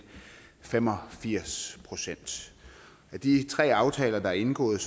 fem og firs procent af de tre aftaler der er indgået